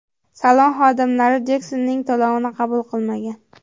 Salon xodimlari Jeksonning to‘lovini qabul qilmagan.